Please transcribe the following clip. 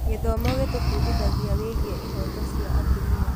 Gĩthomo gĩtũbundithagia wĩgiĩ ihooto cia atumia.